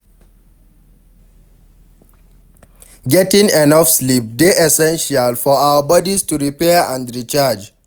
Getting enough sleep dey essential for our bodies to repair and recharge.